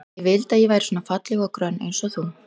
Ég vildi að ég væri svona falleg og grönn eins og þú.